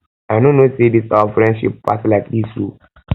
i no know say dis our friendship pass like dis oo